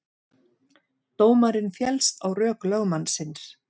Dómarinn féllst á rök lögmannsins